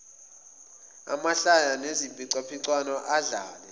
amahlaya neziphicaphicwano adlale